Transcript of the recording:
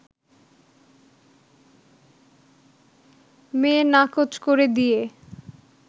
মেয়ে নাকচ করে দিয়ে